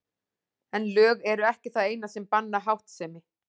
En lög eru ekki það eina sem banna háttsemi.